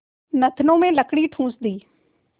नथनों में लकड़ी ठूँस दी